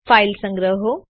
file સંગ્રહો